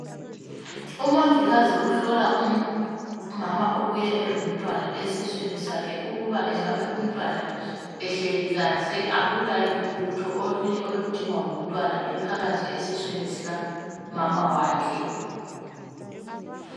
Umongikazi uhlola umama ubuye elomntwana esiswini sakhe ukuba engabe umntwana ehleli kahle akula lutho olunye oludingwa ngumntwana ephakathi esiswini sikamama wakhe.